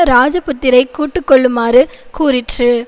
இராஜபுத்திரரைக் கூட்டி கொள்ளுமாறு கூறிற்று